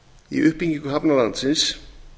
í uppbyggingu hafna landsins